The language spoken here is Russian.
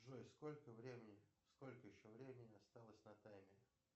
джой сколько времени сколько еще времени осталось на таймере